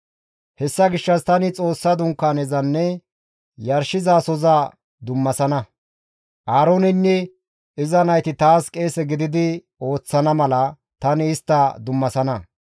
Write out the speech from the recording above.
«Hessa gishshas tani Xoossa Dunkaanezanne yarshizasoza dummasana; Aarooneynne iza nayti taas qeese gididi ooththana mala tani istta dummasana.